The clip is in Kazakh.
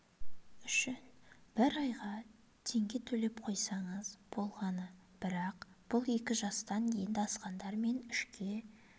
үшін бір айға теңге төлеп қойсаңыз болғаны бірақ бұл екі жастан енді асқандар мен үшке